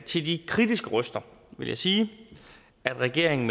til de kritiske røster vil jeg sige at regeringen